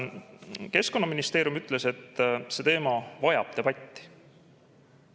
Keskkonnaministeerium ütles, et see teema vajab debatti.